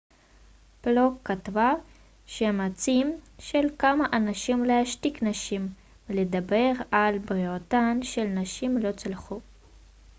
פלוק כתבה שהמאמצים של כמה אנשים להשתיק נשים מלדבר על בריאותן של נשים לא צלחו